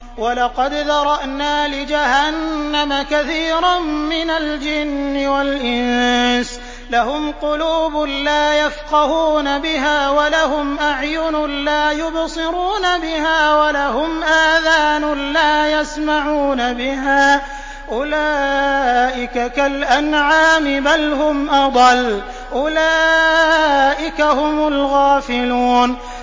وَلَقَدْ ذَرَأْنَا لِجَهَنَّمَ كَثِيرًا مِّنَ الْجِنِّ وَالْإِنسِ ۖ لَهُمْ قُلُوبٌ لَّا يَفْقَهُونَ بِهَا وَلَهُمْ أَعْيُنٌ لَّا يُبْصِرُونَ بِهَا وَلَهُمْ آذَانٌ لَّا يَسْمَعُونَ بِهَا ۚ أُولَٰئِكَ كَالْأَنْعَامِ بَلْ هُمْ أَضَلُّ ۚ أُولَٰئِكَ هُمُ الْغَافِلُونَ